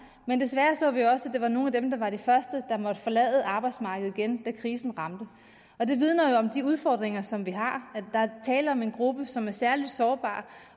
men desværre så vi også at det var nogle af dem der var de første som måtte forlade arbejdsmarkedet igen da krisen ramte det vidner jo om de udfordringer som vi har der er tale om en gruppe som er særlig sårbar